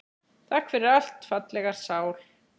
Takk fyrir allt, fallega sál.